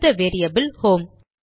அடுத்த variable home